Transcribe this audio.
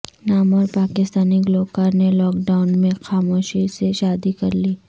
نامورپاکستانی گلوکارنے lockdown میں خاموشی سے شادی کرلی